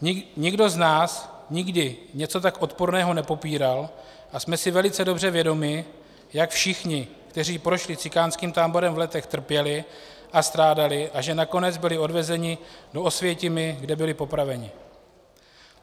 Nikdo z nás nikdy něco tak odporného nepopíral a jsme si velice dobře vědomi, jak všichni, kteří prošli cikánským táborem v Letech, trpěli a strádali a že nakonec byli odvezeni do Osvětimi, kde byli popraveni.